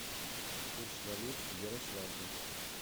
курс валют в ярославле